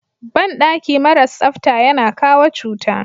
Banɗaki maras tsafta yana kawo cuta.